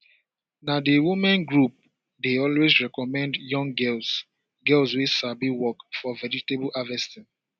na the women group dey always recommend young girls girls wey sabi work for vegetable harvesting